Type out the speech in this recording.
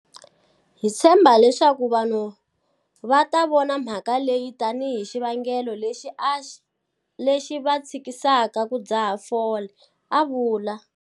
Hi tshembha leswaku vanhu va ta vona mhaka leyi tanihi xivangelo lexi va tshikisaka ku dzaha fole, a vula.